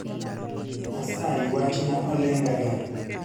asayi wachna olengega